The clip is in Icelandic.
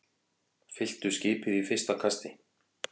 Fylltu skipið í fyrsta kasti